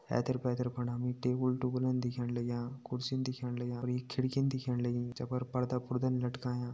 ऐथर पैथर फणा हमि टेबल टुबलन दिखेण लग्यां कुर्सी दिखेण लग्यां अर एक खिड़की दिखेण लगीं जै पर पर्दा पुर्दा लटकायां।